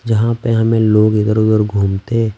जहाँ पे हमें लोग इधर-उधर घूमते--